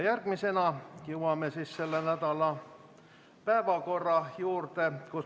Nüüd jõuame selle nädala päevakorra juurde.